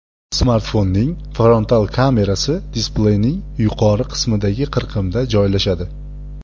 Smartfonning frontal kamerasi displeyning yuqori qismidagi qirqimda joylashadi.